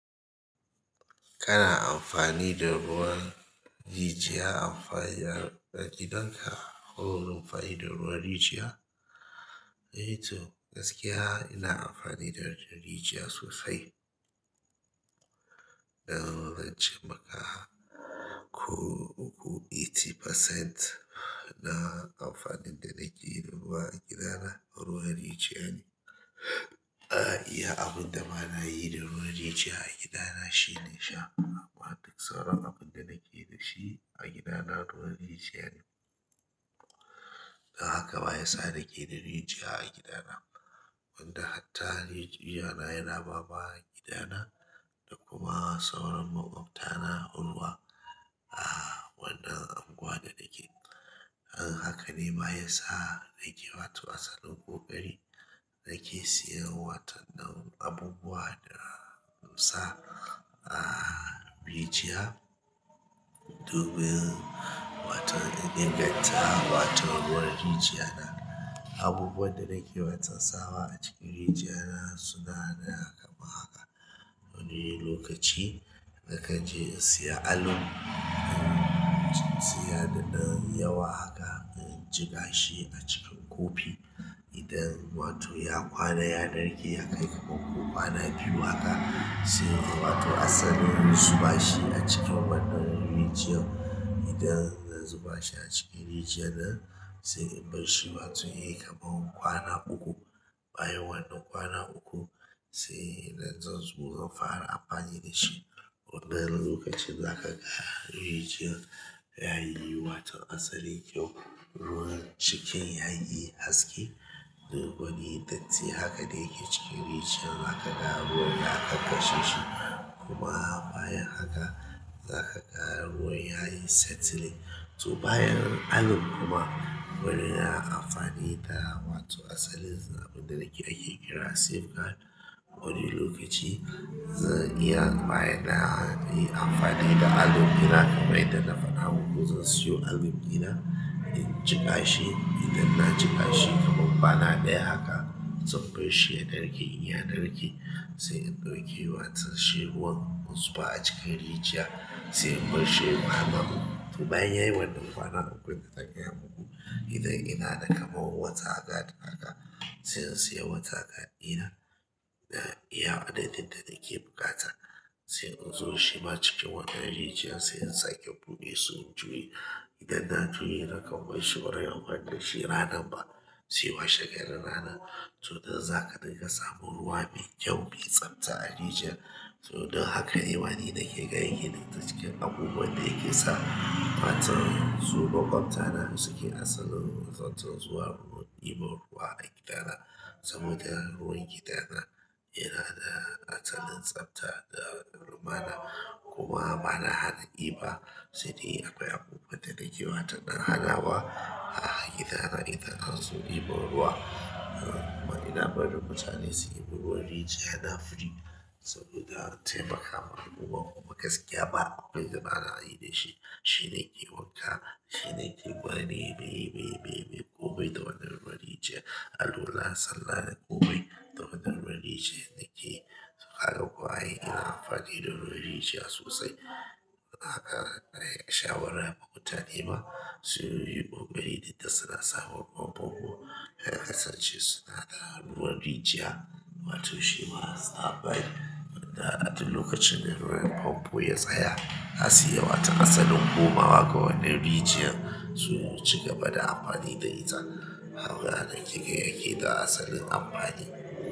Kana amfani da ruwan rijiyar amfani na gidan ka ko ruwan fa'idar ruwan rijiyar? To gaskiya ina amfani da ruwan rijiya sosai. Zan ce maka ko uku tamanin percent na amfanin da nake yi a gida na ruwan rijiyar ne. Iya abin da bana yi da ruwan rijiyar a gidana shine sha. Amma duk sauran abin da nake da shi a gida na ruwan rijiyar ne. Don haka ma ya sa nake da rijiya a gidana. Wanda hatta rijiyana yana bama gidana da kuma sauran maƙwabta na ruwa. Wannan unguwa da nake. Haka ne baya sa nake wato asalin koƙari nake siyan watan na abubuwa da musa a rijiyar, domin wata in inganta watan ruwan rijiyar na. Abubuwan da nake watsa sawa a cikin rijiyar na suna kamar haka. Wani lokaci na ka je siya alum, siya da na yawa haka inji ka shi a cikin kofi. Idan wato ya kwana ya narke ya kai kamar kwana biyu haka sai wato asalin zuba shi a cikin wannan rijiyar. Idan zan zuba shi a cikin rijiyar na sai in bar shi wato ya yi kamar kwana uku. Bayan wannan kwana uku sai idan zan zo in fara amfani dashi wannan lokacin zaka rijiyan wato yayi kyau ruwan cikin yayi haske. Duk wani datti haka da yake cikin rijiyar zaka ga ruwan ya ƙasashe shi kuma bayan haka za ka ga ruwan yayi settling. To bayan alum kuma wane amfani da wato asalin abin da nake aiki kira safeguard. Wani lokaci zan iya bayyana amfani da alum ina kamar yadda na faɗa maku zan siyo alum ina inji ka shi. Idan na ji ka shi kamar kwana ɗaya haka zan bar shi ya narke in ya narke sai in ɗauke wato shi ruwan in zuba a cikin rijiyar sai in bar shi yayi kwana uku. To bayan yayi wannan kwana uku da na gaya uku, idan ina da kamar ''water guard' haka sai in siya water guard ina na iya adadin da nake buƙata sai in zo shima cikin wannan rijiyar sai in sake ɓode su in juye. Idan na to ina kam barshi bazan yi amfani dashi ranan ba sai wa she garin ranan to don za a dinga samun ruwa mai kyau mai tsafta a rijiyar. To don haka ne ma ni nake ga ya na da ciki abubuwan da yake sa watan su maƙwabta na suke asalin wato zuwa ruwan dibar ruwa a gidana. Saboda ruwan gidana yana da asalin tsafta da rumana kuma bana haɗa diba. Sai dai akwai abubuwan da nake watan na haɗawa a gidana idan an zo ibar ruwa. Kuma ina barin mutane su yi ruwan rijiyar na free saboda taimakama al'umma kuma gaskiya ba abu dai da bana yi da shi. Shi nake wanka, shi nake bari mai, mai, mai, mai ƙuma bai ta wannan rijiyar. Alola, sallal ƙubai ta wannan rijiyar nake yi. To haka kuwa ina amfani da ruwan rijiyar sosai. A'a shawara ma mutane ma suyi ƙoƙarin idan suna sa ruwan fomfo su kasance suna sa ruwan rijiya wato shi ma zaɓa da a tun wani lokacin da ruwan famfo ya tsaya na sai wata asalin komawa ga wannan rijiyar su ci gaba da amfani da ita. Abu da nake ga yana da asalin amfani.